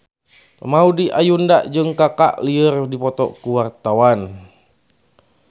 Maudy Ayunda jeung Kaka keur dipoto ku wartawan